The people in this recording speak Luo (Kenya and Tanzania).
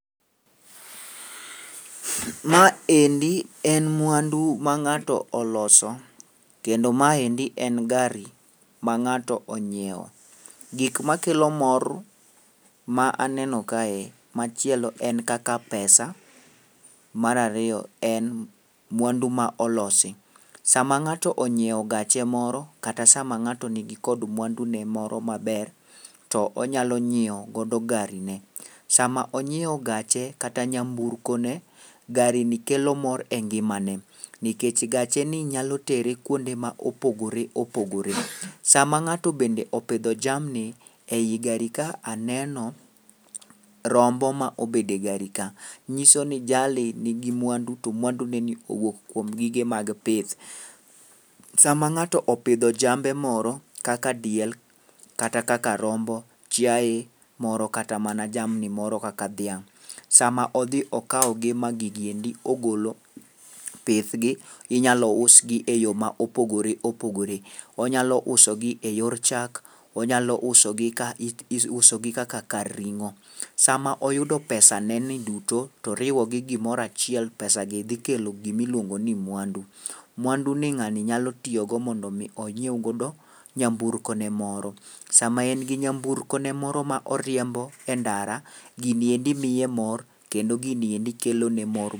Ma endi en mwandu ma ng'ato oloso, kendo ma endi en gari ma ng'ato ong'iewo. Gik makelo mor ma aneno kae machielo en kaka pesa ,mar ariyo en mwandu ma olosi. Sama ng'ato onyiewo gache moro kata sama ng'ato nigi kod mwandune moro ,to onyalo nyiewogodo garine. Sama onyiewo gache kata nyamburkone, garini kelo mor e ngimane, nikechj gacheni nyalo tere kwonde ma opogore opogore. Sama ng'ato bende opidho jamni, ei gari ka aneno rombo ma obedo e gari ka, nyiso ni jalni nigi mwandu to mwandunine owuok kuom gige mag pith. Sama ng'ato opidho jambe moro kaka diel, kata kaka rombo, chiaye moro kata mana jamni moro kaka dhiang' sama odhi okawogi ma gigi endo ogolo pithgi, inyalo usgi e yo ma opogore opogore. Onyalo usogi e yor chak, onyalo usogi kaka karing'o. Sama oyudo pesaneni duto, to oriwore gi gimoro achiel, pesagi dhi kelo gimiluongo ni mwandu. Mwanduni ng'ani nyalo tiyogo mondo omi onyiew godo nyamburkone moro. sama en gi nyamburkone moro ma oriembo e ndara, gini endi miye mor, kendo gini endi kelone mor.